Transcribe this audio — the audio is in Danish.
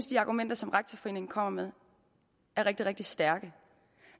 de argumenter som rektorforeningen kommer med er rigtig rigtig stærke